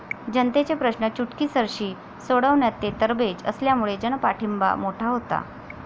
जनतेचे प्रश्न चुटकीसरशी सोडवण्यात ते तरबेज असल्यामुळे जनपाठींबा मोठा होता.